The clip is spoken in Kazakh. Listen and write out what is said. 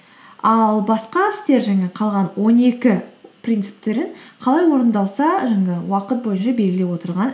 ал басқа істер жаңағы қалған он екі принциптерін қалай орындалса жаңағы уақыт бойынша белгілеп отырған